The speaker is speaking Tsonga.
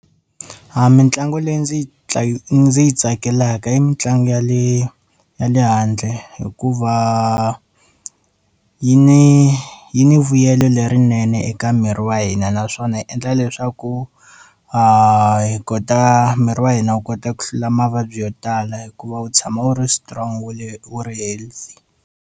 A mitlangu leyi ndzi yi ndzi yi tsakelaka i mitlangu ya le ya le handle hikuva yi ni yi ni vuyelo lerinene eka miri wa hina naswona yi endla leswaku a hi kota miri wa hina wu kota ku hlula mavabyi yo tala hikuva wu tshama wu ri strong wu ri healthy.